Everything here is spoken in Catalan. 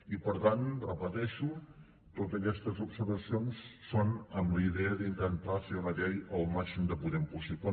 i per tant ho repeteixo totes aquestes observacions són amb la idea d’intentar fer una llei el màxim de potent possible